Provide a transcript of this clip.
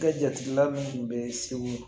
Kɛ jatila munnu be segu